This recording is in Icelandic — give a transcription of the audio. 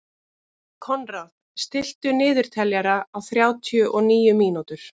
Konráð, stilltu niðurteljara á þrjátíu og níu mínútur.